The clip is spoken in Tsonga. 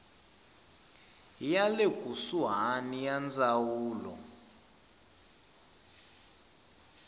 ya le kusuhani ya ndzawulo